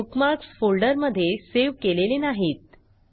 हे बुकमार्कस फोल्डरमधे सेव्ह केलेले नाहीत